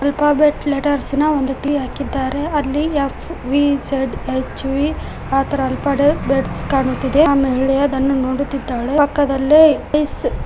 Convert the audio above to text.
ಕಾಬೆಟ್ letters ನ ಒಂದು T ಹಾಕಿದ್ದಾರೆ ಅಲ್ಲಿ F V Z H V ಆ ತರ ಅಲ್ಪಾಡ್ ಬೆಟ್ಸ್ ಕಾಣುತಿದೆ ಆಮೇಲೆ ಅದನ್ನು ನೋಡುತ್ತಿದ್ದಾಳೆ ಪಕ್ಕದಲ್ಲೇ ಇಸ್ --